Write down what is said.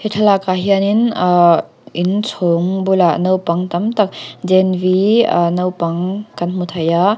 thlalak ah hianin ahh in chhawng bulah naupang tam tak naupang kan hmu thei a.